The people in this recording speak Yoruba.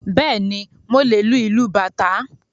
Bẹ́ẹ̀ni, mo lè lu ìlú bàtá